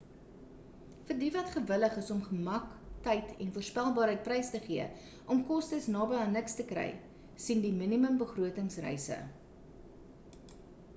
vir die wat gewillig is om gemak tyd en voorspelbaarheid prys te gee om kostes naby aan niks te kry sien die minimum begroting reise